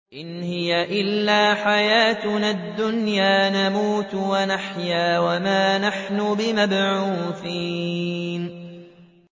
إِنْ هِيَ إِلَّا حَيَاتُنَا الدُّنْيَا نَمُوتُ وَنَحْيَا وَمَا نَحْنُ بِمَبْعُوثِينَ